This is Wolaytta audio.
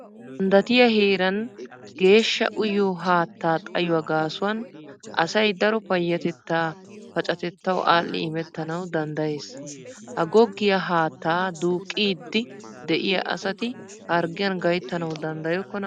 Ganddatiya heeran geeshsha uyyiyo haatta xayyuwa gaasuwan asay daro payyatetta paccatettaw aadhdhi immetanaw danddayees. ha goggiya haatta duuqqidi de'iya asati harggiyan gayttanaw danddayokkona?